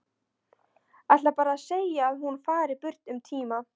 Ætlar bara að segja að hún fari burt um tíma.